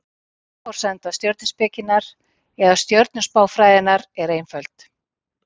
Grunnforsenda stjörnuspekinnar, eða stjörnuspáfræðinnar, er einföld.